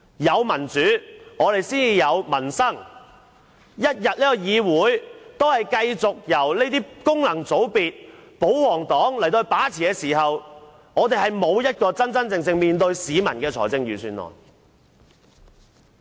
有民主才有民生，議會一天繼續由功能界別和保皇黨把持，便不會有真正能面對市民的預算案。